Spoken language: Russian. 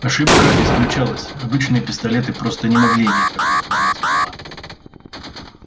ошибка исключалась обычные пистолеты просто не могли иметь такую форму ствола